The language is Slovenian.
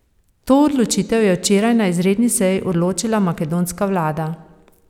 To odločitev je včeraj na izredni seji odločila makedonska vlada.